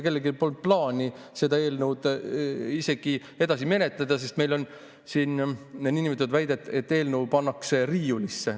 Kellelgi polnud plaani seda eelnõu edasi menetleda, meil on siin nõndanimetatud väide, et eelnõu pannakse riiulisse.